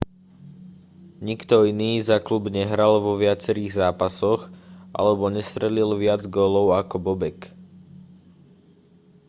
nikto iný za klub nehral vo viacerých zápasoch alebo nestrelil viac gólov ako bobek